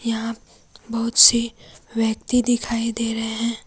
यहां बहुत से व्यक्ति दिखाई दे रहे है।